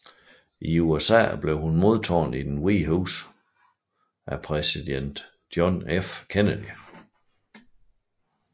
I USA blev hun modtaget i Det Hvide Hus af præsident John F